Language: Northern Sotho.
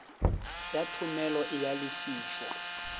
ya thomelo e a lefišwa